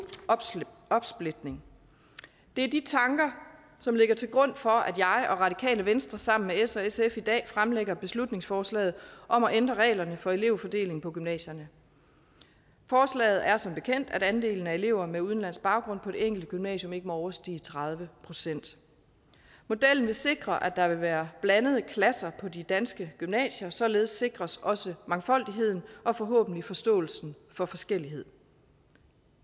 opsplitning det er de tanker som ligger til grund for at jeg og radikale venstre sammen med s og sf i dag fremsætter beslutningsforslaget om at ændre reglerne for elevfordeling på gymnasierne forslaget er som bekendt at andelen af elever med udenlandsk baggrund på det enkelte gymnasium ikke må overstige tredive procent modellen vil sikre at der vil være blandede klasser på de danske gymnasier således sikres også mangfoldigheden og forhåbentlig forståelsen for forskellighed